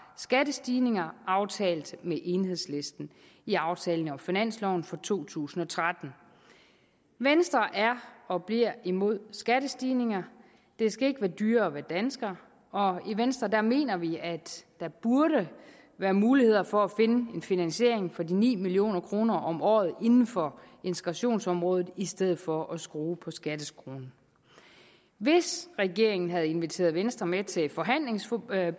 skattestigninger aftalt med enhedslisten i aftalen om finansloven for to tusind og tretten venstre er og bliver imod skattestigninger det skal ikke være dyrere at være dansker og i venstre mener vi at der burde være muligheder for at finde en finansiering for de ni million kroner om året inden for integrationsområdet i stedet for at skrue på skatteskruen hvis regeringen havde inviteret venstre med til forhandlingsbordet